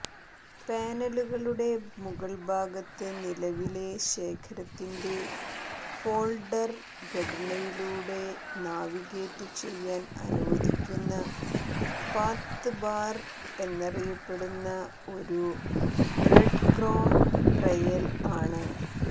പാനലുകളുടെ മുകൾഭാഗത്ത് നിലവിലെ ശേഖരത്തിന്റെ ഫോൾഡർ ഘടനയിലൂടെ നാവിഗേറ്റുചെയ്യാൻ അനുവദിക്കുന്ന പാത്ത് ബാർ എന്നറിയപ്പെടുന്ന ഒരു ബ്രഡ്ക്രോംബ് ട്രെയ്ൽ ആണ്